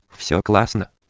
все классно